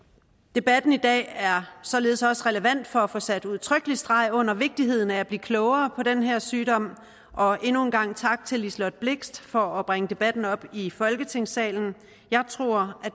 debatten i dag er således også relevant for at få sat udtrykkelig streg under vigtigheden af at blive klogere på den her sygdom og endnu en gang tak til liselott blixt for at bringe debatten op i folketingssalen jeg tror